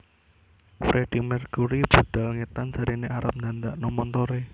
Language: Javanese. Freddie Mercury budal ngetan jarene arep ndandakno montore